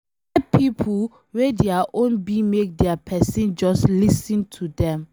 E get pipo wey dia own be make dia pesin just lis ten to dem